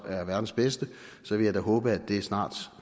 er verdens bedste så vil jeg da håbe at det snart